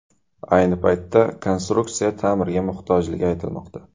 Ayni paytda konstruksiya ta’mirga muhtojligi aytilmoqda.